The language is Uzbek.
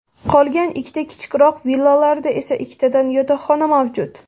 Qolgan ikkita kichikroq villalarda esa ikkitadan yotoqxona mavjud.